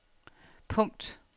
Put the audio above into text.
punkt